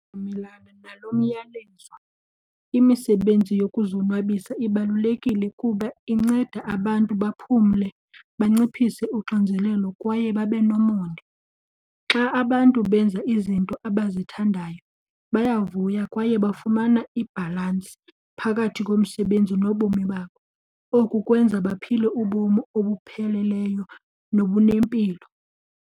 Ndiyavumelana naloo myalezo. Imisebenzi yokuzonwabisa ibalulekile kuba inceda abantu baphumle, banciphise unxinzelelo kwaye babe nomonde. Xa abantu benza izinto abazithandayo bayavuya kwaye bafumana ibhalansi phakathi komsebenzi nobomi babo. Oku kwenza baphile ubomi obupheleleyo nobunempilo.